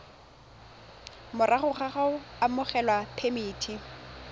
morago ga go abelwa phemiti